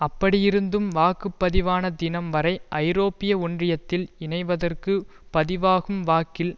அப்படியிருந்தும் வாக்குப்பதிவான தினம் வரை ஐரோப்பிய ஒன்றியத்தில் இணைவதற்கு பதிவாகும் வாக்கில்